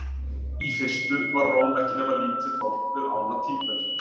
Í fyrstu var Róm ekki nema lítið þorp við ána Tíber.